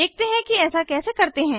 देखते हैं कि ऐसा कैसे करते हैं